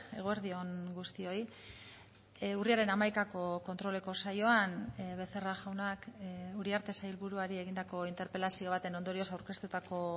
eguerdi on guztioi urriaren hamaikako kontroleko saioan becerra jaunak uriarte sailburuari egindako interpelazio baten ondorioz aurkeztutako